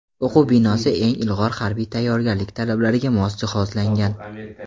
O‘quv binosi eng ilg‘or harbiy tayyorgarlik talablariga mos jihozlangan.